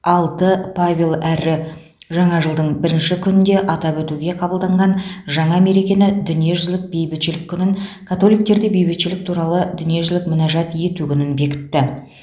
алты павел әрі жаңа жылдың бірінші күнінде атап өтуге қабылданған жаңа мерекені дүниежүзілік бейбітшілік күнін католиктерде бейбітшілік туралы дүниежүзілік мінәжат ету күнін бекітті